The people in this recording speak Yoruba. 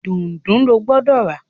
Dùndú ló gbódò rà!